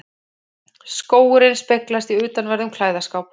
Skógurinn speglast í utanverðum klæðaskáp